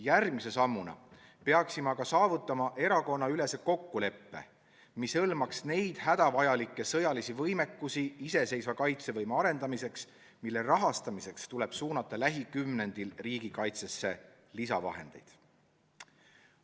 Järgmise sammuna peaksime aga saavutama erakonnaülese kokkuleppe, mis hõlmaks neid hädavajalikke sõjalisi võimekusi iseseisva kaitsevõime arendamiseks, mille rahastamiseks tuleb lähikümnendil riigikaitsesse lisavahendeid suunata.